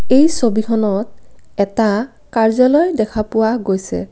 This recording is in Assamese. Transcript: এই ছবিখনত এটা কাৰ্য্যালয় দেখা পোৱা গৈছে।